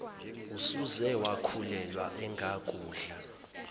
usuze wakhulelwa engakudla